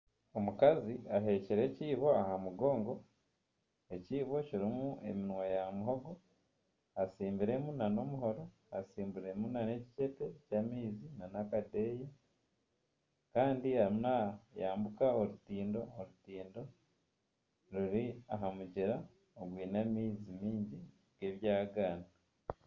Omukazi aheekire ekiibo aha mugongo ekiibo kirimu eminwa ya muhogo hatsimbiremu nana omuhoro hatsimbiremu nana ekicepe kyamaizi nana akadeeya kandi arimu nayambuka orutindo, orutindo ruri aha mugyera ogwine amaizi maingi g'ebyagaana